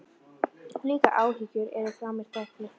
Líka áhyggjur eru frá mér teknar.